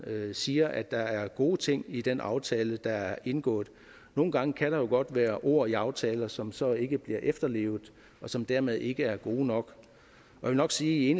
siger at der er gode ting i den aftale der er indgået nogle gange kan der jo godt være ord i aftaler som så ikke bliver efterlevet og som dermed ikke er gode nok jeg vil nok sige at